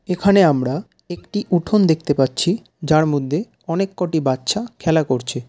এখানে আমরা একটি উঠন দেখতে পাচ্ছি যার মধ্যে অনেক কটি বাচ্চা খেলা করছে।